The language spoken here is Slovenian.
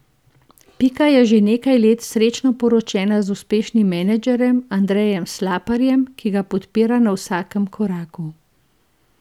Pika je že nekaj let srečno poročena z uspešnim menedžerjem Andrejem Slaparjem, ki ga podpira na vsakem koraku.